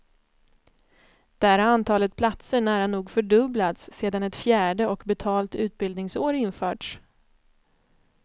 Där har antalet platser nära nog fördubblats sedan ett fjärde och betalt utbildningsår införts.